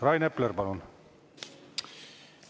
Rain Epler, palun!